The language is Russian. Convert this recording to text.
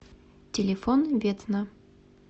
телефон ветна